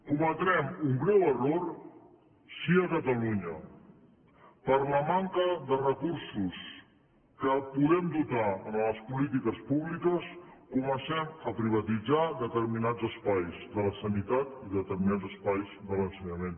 cometrem un greu error si a catalunya per la manca de recursos de què podem dotar les polítiques públiques comencem a privatitzar determinats espais de la sanitat i determinats espais de l’ensenyament